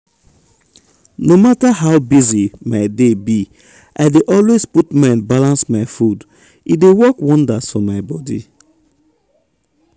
no matter how busy my day be i dey always put mind balance my food. e dey work wonders for my body.